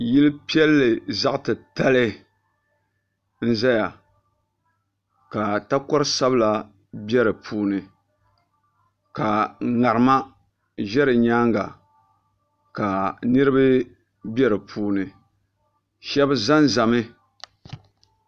Yili piɛlli zaɣ'titali n-zaya ka takor'sabila be di puuni ka ŋarima ʒe di nyaaŋa ka niriba be di puuni shɛba zanzami.